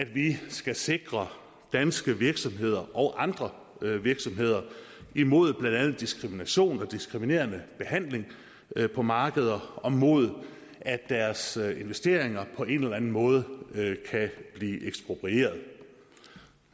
vi skal sikre danske virksomheder og andre virksomheder mod blandt andet diskrimination og diskriminerende behandling på markeder og mod at deres investeringer på en eller anden måde kan blive eksproprieret det